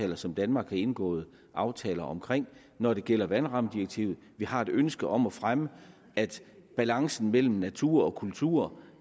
det som danmark har indgået aftaler om når det gælder vandrammedirektivet vi har et ønske om at fremme at balancen mellem natur og kultur